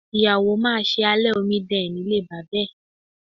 Ìyàwó máa ṣe alẹ́ omidan ẹ̀ nílé bàbá ẹ̀.